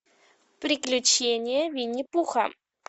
приключения винни пуха